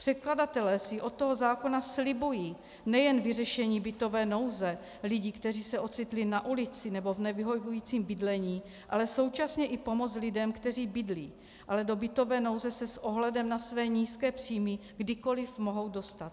Předkladatelé si od toho zákona slibují nejen vyřešení bytové nouze lidí, kteří se ocitli na ulici nebo v nevyhovujícím bydlení, ale současně i pomoc lidem, kteří bydlí, ale do bytové nouze se s ohledem na své nízké příjmy kdykoliv mohou dostat.